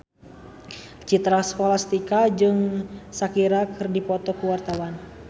Citra Scholastika jeung Shakira keur dipoto ku wartawan